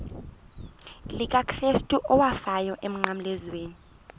likakrestu owafayo emnqamlezweni